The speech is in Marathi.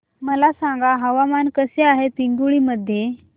मला सांगा हवामान कसे आहे पिंगुळी मध्ये